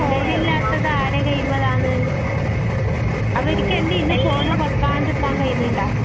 ഇന്ന് ഫോണ് ഇല്ലാത്തത് ആരെ കയ്യിലാണ് അവർക്ക് തന്നെ ഇന്ന് ഫോൺ വെക്കേണ്ട നിക്കാൻ കഴിയുന്നുണ്ടോ